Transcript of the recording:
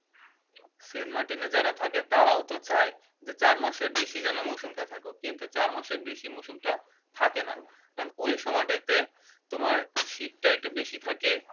Saint Martin এ যারা থাকে তারাও তো চায় চারমাসের বেশি যেন মরসুম টা থাকে কিন্তু চারমাসের বেশি মরসুমটা থাকেনা কারণ ওই সময়টাতে শীতটা একটু বেশি থাকে